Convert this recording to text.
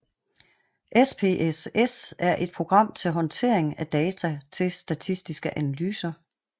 SPSS er et program til håndtering af data til statistiske analyser